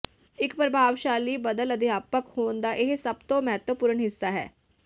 ਇੱਕ ਪ੍ਰਭਾਵਸ਼ਾਲੀ ਬਦਲ ਅਧਿਆਪਕ ਹੋਣ ਦਾ ਇਹ ਸਭ ਤੋਂ ਮਹੱਤਵਪੂਰਨ ਹਿੱਸਾ ਹੈ